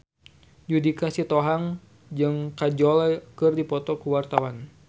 Judika Sitohang jeung Kajol keur dipoto ku wartawan